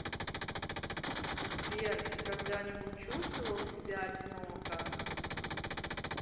сбер ты когда нибудь чувствовал себя одиноко